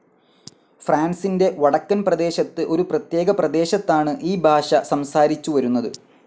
ഫ്രാൻസിന്റെ വടക്കൻ പ്രദേശത്ത് ഒരു പ്രത്യേക പ്രദേശത്താണ് ഈ ഭാഷ സംസാരിച്ചുവരുന്നത്.